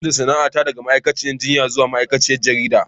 Zan canza sana'ata daga ma'aikaciyar jinya zuwa ma'aikaciyar jarida.